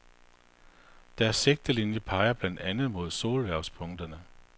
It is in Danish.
Deres sigtelinjer peger blandt andet mod solhvervspunkterne.